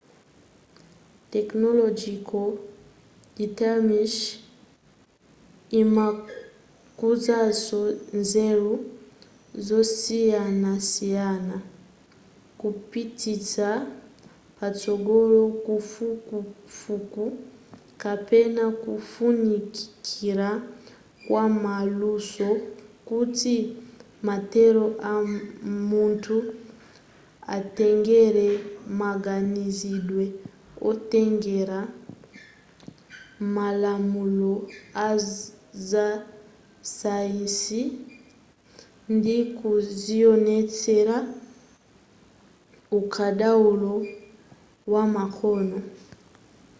technological determism imakhuzanso nzeru zosiyanasiyana kupititsa patsogolo kafukufuku kapena kufunikira kwa maluso kuti mathero amunthu atengera maganizidwe otengera malamulo azasayansi ndi kuzionetsera ukadaulo wamakono